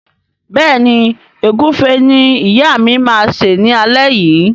Béèni Egufe ní ìyá ma ṣe ní alé yí.